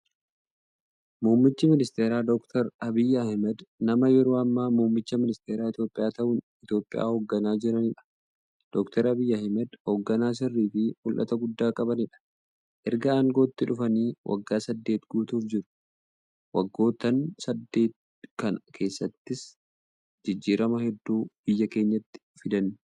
Muummichi ministeeraa Doctor Abiy Ahmad, nama yeroo ammaa muummicha ministeeraa Itiyoophiyaa ta'uun Itiyoophiyaa hoogganaa jiraniidha. Doctor Abiy Ahmad hoogganaa sirriifi mul'ata guddaa qabaniidha. Ergaa aangootti dhufaniis waggaa saddeet guutuuf jiru. Waggoottan saddeet kana keessattis jijjiirama hedduu biyya keenyatti fidan.